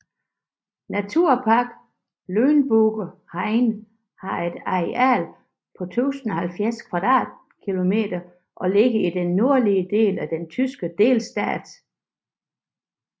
Naturpark Lüneburger Heide har et areal på 1070 km² og ligger i den nordlige del den tyske delstat Niedersachsen